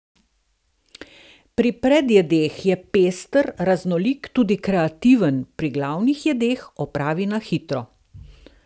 Pri predjedeh je pester, raznolik, tudi kreativen, pri glavnih jedeh opravi na hitro.